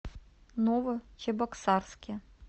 новочебоксарске